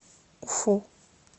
уфу